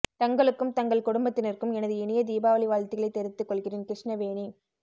தங்களுக்கும் தங்கள் குடும்பத்தினருக்கும் எனது இனிய தீபாவளி வாழ்த்துக்களை தெரிவித்து கொள்கிறேன் கிருஷ்ணவேணி